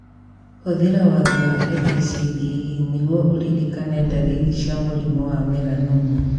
Hũthĩra watho wa ABCDE nĩguo ũrĩrĩkane darĩrĩ cia mũrimũ wa melanoma